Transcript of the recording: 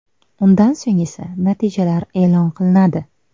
Undan so‘ng esa natijalar e’lon qilinadi.